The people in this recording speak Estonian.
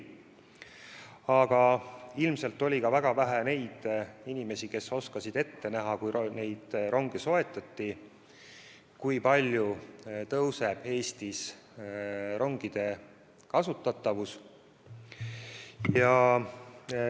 Aga ilmselt oli ka väga vähe inimesi, kes oskasid siis, kui neid ronge soetati, ette näha, kui palju Eestis rongide kasutatavus kasvab.